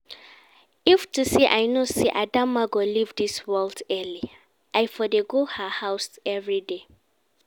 If to say I know say Adamma go leave dis world early, I for dey go her house everyday